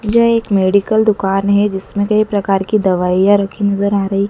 यह एक मेडिकल दुकान हैं जिसमें कई प्रकार की दवाइयां रखीं नजर आ रहीं--